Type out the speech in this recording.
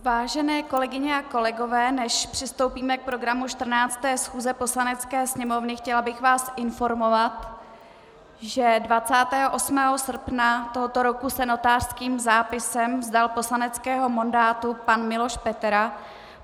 Vážené kolegyně a kolegové, než přistoupíme k programu 14. schůze Poslanecké sněmovny, chtěla bych vás informovat, že 28. srpna tohoto roku se notářským zápisem vzdal poslaneckého mandátu pan Miloš Petera.